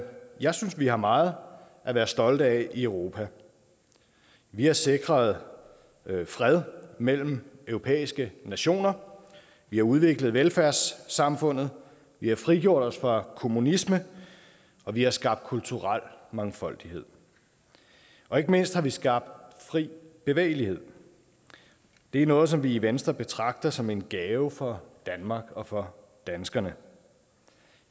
jeg synes at vi har meget at være stolte af i europa vi har sikret fred mellem europæiske nationer vi har udviklet velfærdssamfundet vi har frigjort os fra kommunisme vi har skabt kulturel mangfoldighed og ikke mindst har vi skabt fri bevægelighed det er noget som vi i venstre betragter som en gave for danmark og for danskerne